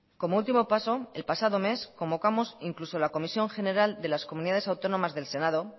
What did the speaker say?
como último paso el pasado mes convocamos incluso la comisión general de las comunidades autónomas del senado